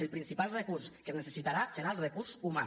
el principal recurs que es necessitarà serà el recurs humà